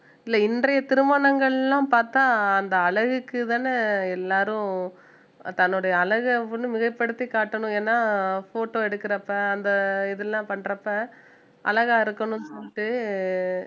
இல்லை இன்றைய திருமணங்கள் எல்லாம் பாத்தா அந்த அழகுக்குதான எல்லாரும் தன்னுடைய அழகை வந்து மிகைப்படுத்தி காட்டணும் ஏன்னா photo எடுக்கறப்ப அந்த இதெல்லாம் பண்றப்ப அழகா இருக்கணும்ன்னுட்டு